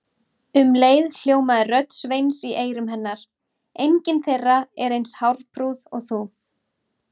Um leið hljómaði rödd Sveins í eyrum hennar: engin þeirra er eins hárprúð og þú